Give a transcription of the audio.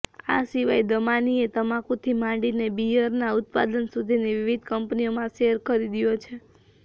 આ સિવાય દમાનીએ તમાકુથી માંડીને બિઅરના ઉત્પાદન સુધીની વિવિધ કંપનીઓમાં શેર ખરીદ્યો છે